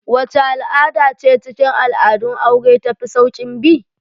Wacce al'ada ce cikin al'adun aure ta fi saukin bi?